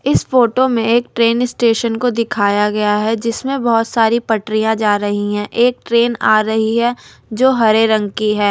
इस फोटो में एक ट्रेन स्टेशन को दिखाया गया है जिसमें बहुत सारी पटरियां जा रही हैं एक ट्रेन आ रही है जो हरे रंग की है।